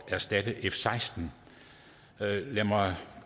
erstatte f seksten lad mig